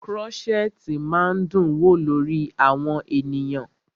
Krọ́ṣẹ̀tì máa ń dún wò lórí àwọn ènìyàn.